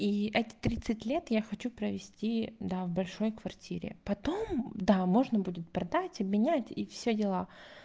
и эти тридцать лет я хочу провести да в большой квартире потом да можно будет продать обменять и все дела